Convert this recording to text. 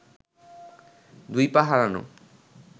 দুই পা হারানো